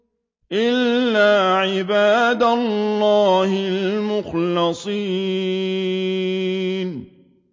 إِلَّا عِبَادَ اللَّهِ الْمُخْلَصِينَ